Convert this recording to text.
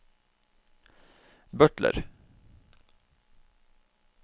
butler